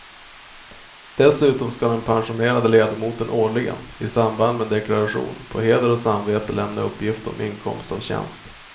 Dessutom ska den pensionerade ledamoten årligen, i samband med deklaration, på heder och samvete lämna uppgift om inkomst av tjänst.